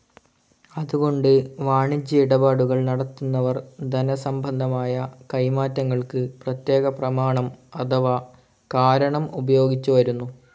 അതുകൊണ്ട് വാണിജ്യ ഇടപാടുകൾ നടത്തുന്നവർ ധനസംബന്ധമായ കൈമാറ്റങ്ങൾക് പ്രേത്യേക പ്രമാണം അഥവാ കാരണം ഉപയോഗിച്ചുവരുന്നു.